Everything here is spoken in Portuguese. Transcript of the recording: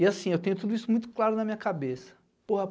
E assim, eu tenho tudo isso muito claro na minha cabeça